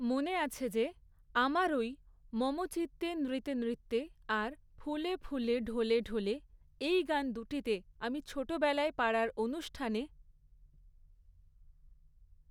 মনে আছে যে, আমার ওই মম চিত্তে নৃতে নৃত্যে, আর ফুলে ফুলে, ঢলে ঢলে, এই গান দুটিতে আমি ছোটোবেলায় পাড়ার অনুষ্ঠানে